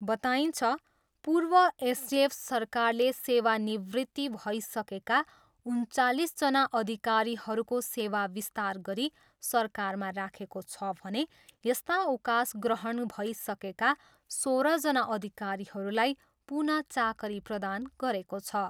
बताइन्छ, पूर्व एसडिएफ सरकारले सेवा निवृत्ति भएसकेका उन्चालिसजना अधिकारीहरूको सेवा विस्तार गरी सरकारमा राखेको छ भने, यस्ता अवकाशग्रहण भइसकेका सोह्रजना अधिकारीहरूलाई पुनः चाकरी प्रदान गरेको छ।